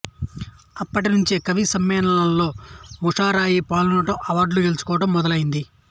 అప్పటి నుంచే కవిసమ్మేళనాల్లో ముషాయిరా పాల్గొనడం అవార్డులు గెలుచుకోవడం మొదలయ్యింది